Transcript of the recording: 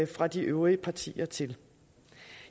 fra de øvrige partier til